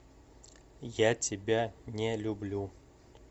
я тебя не люблю